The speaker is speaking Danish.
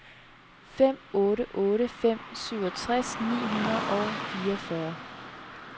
fem otte otte fem syvogtres ni hundrede og fireogfyrre